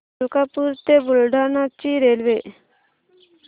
मलकापूर ते बुलढाणा ची रेल्वे